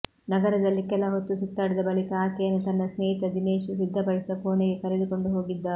ನಗರದಲ್ಲಿ ಕೆಲ ಹೊತ್ತು ಸುತ್ತಾಡಿದ ಬಳಿಕ ಆಕೆಯನ್ನು ತನ್ನ ಸ್ನೇಹಿತ ದಿನೇಶ್ ಸಿದ್ಧಪಡಿಸಿದ್ದ ಕೋಣೆಗೆ ಕರೆದುಕೊಂಡು ಹೋಗಿದ್ದ